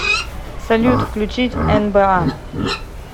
салют включить энбэа